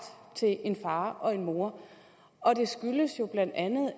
til en far og en mor og det skyldes jo bla